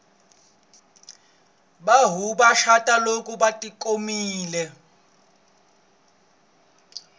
vanhu va cata lolko vati khomile